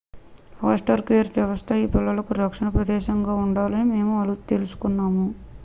foster care వ్యవస్థ ఈ పిల్లలకు రక్షణ ప్రదేశంగా ఉండాలని మేము తెలుసుకున్నాము